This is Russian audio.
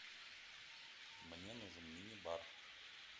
мне нужен мини бар